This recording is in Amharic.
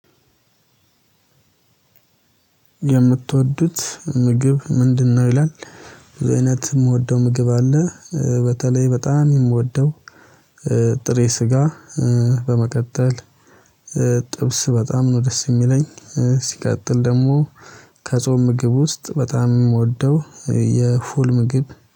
የምትወዱት ምግብ ምንድነው? ይላል እውነት ምግብ አለ። በተለይ በጣም የምወደው ጥሬ ስጋ በመቀጠል ጥብስ በጣም ነው ደስ የሚለኝ። ሲቀጥል ደግሞ ከጾም ምግብ ውስጥ በጣም የምወደው የፉል ምግብ